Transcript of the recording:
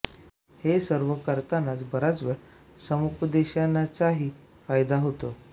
हे सर्व करतानाच बराच वेळा सामुपादेशनाचाही फायदा होतो